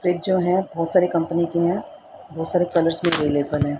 Freeze जो है बहोत सारी कंपनी की है बहोत सारे कलर्स मे है।